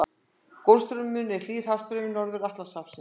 Golfstraumurinn er hlýr hafstraumur í Norður-Atlantshafi.